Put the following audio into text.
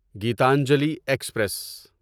Gitanjali express